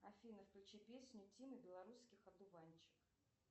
афина включи песню тимы белорусских одуванчик